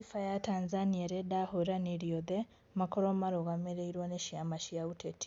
Gatiba ya Tanzania ĩrenda ahũranĩri othe makorwo marũgamĩrĩirwo nĩ ciama cia ũteti